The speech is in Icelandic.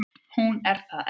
Hún er það enn.